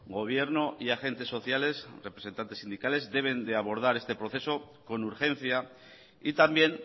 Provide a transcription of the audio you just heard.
gobierno y agentes sociales representantes sindicales deben de abordar este proceso con urgencia y también